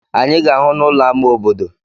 Anyị ga-ahụ n'ụlọ ámá obodo.